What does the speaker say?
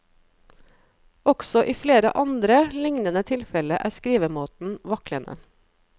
Også i flere andre lignende tilfelle er skrivemåten vaklende.